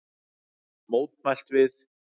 Mótmælt við